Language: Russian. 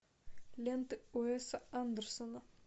лента уэса андерсона